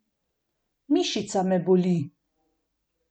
Mišica me boli.